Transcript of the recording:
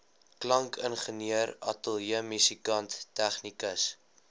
klankingenieur ateljeemusikant tegnikus